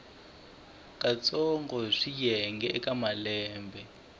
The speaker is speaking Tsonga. katsongo hi swiyenge eka malembe